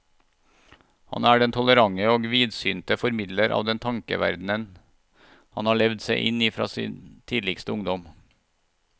Han er den tolerante og vidsynte formidler av den tankeverden han har levd seg inn i fra sin tidligste ungdom.